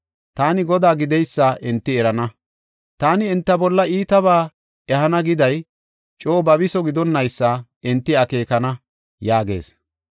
Taani Godaa gideysa enti erana. Taani enta bolla iitabaa ehana giday coo babiso gidonnaysa enti akeekana’ ” yaagees.